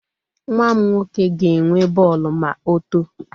Nwa m nwoke ga-enwe bọọlụ ma otoo.